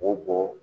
O bɔ